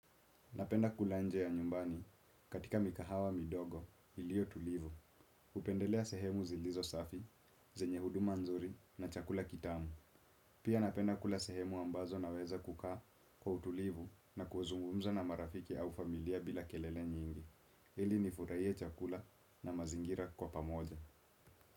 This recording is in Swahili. Napenda kula nje ya nyumbani katika mikahawa midogo ilio tulivu. Hupendelea sehemu zilizo safi, zenye huduma nzuri na chakula kitamu. Pia napenda kula sehemu ambazo naweza kukaa kwa utulivu na kuzungumza na marafiki au familia bila kelele nyingi. Ili nifurahie chakula na mazingira kwa pamoja.